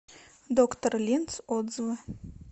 доктор линз отзывы